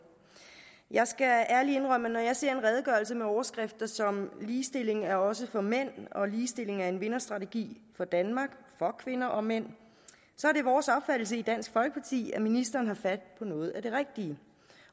jeg skal ærligt indrømme at når jeg ser en redegørelse med overskrifter som ligestilling er også for mænd og ligestilling er en vinderstrategi for danmark for kvinder og mænd så er det vores opfattelse i dansk folkeparti at ministeren har fat på noget af det rigtige